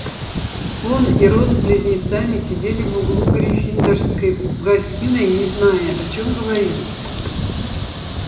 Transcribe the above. он и рон с близнецами сидели в углу гриффиндорской гостиной не зная о чём говорить